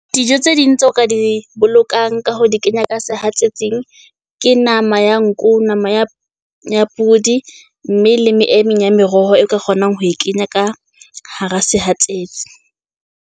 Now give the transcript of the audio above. Dijo tse ding tseo ka di bolokang ka hore di kenya ka sehatsetsing ke nama ya nku, nama ya ya podi. Mme le emmeng ya meroho e ka kgonang ho e kenya ka hara sehatsetsi.